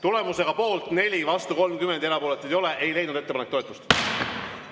Tulemusega poolt 4, vastuolijaid on 30 ja erapooletuid ei ole, ei leidnud ettepanek toetust.